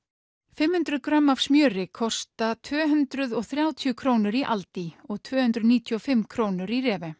fimm hundruð grömm af smjöri kosta tvö hundruð og þrjátíu krónur í aldi og tvö hundruð níutíu og fimm krónur í